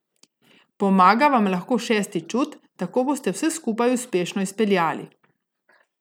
Pomaga vam lahko šesti čut, tako boste vse skupaj uspešno izpeljali.